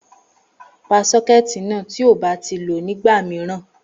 Pa sókétì náà tí ò bá ti lo ní ìgbà mìíràn